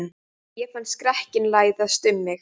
Ég fann skrekkinn læsast um mig.